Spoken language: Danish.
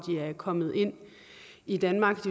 kommet ind i danmark